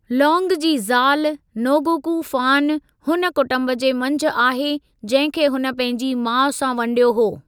लौंग जी ज़ाल नोगोकु फानु हुन कुटुंब जे मंझि आहे जंहिं खे हुन पंहिंजी माउ सां वंडियो हो।